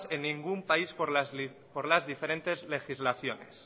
en ningún país por las diferentes legislaciones